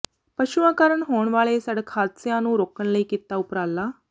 ਪਸ਼ੂਆਂ ਕਾਰਨ ਹੋਣ ਵਾਲੇ ਸੜਕ ਹਾਦਸਿਆਂ ਨੂੰ ਰੋਕਣ ਲਈ ਕੀਤਾ ਉਪਰਾਲਾ